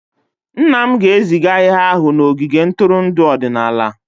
Nna m ga-eziga ihe ahụ n'ogige ntụrụndụ ọdịnala.